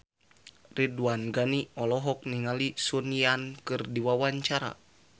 Ridwan Ghani olohok ningali Sun Yang keur diwawancara